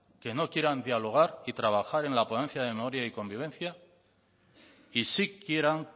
que no quieran dialogar y trabajar en la ponencia de memoria y convivencia y sí quieran